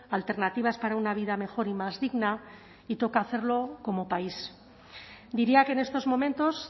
alternativas para una vida mejor y más digna y toca hacerlo como país diría que en estos momentos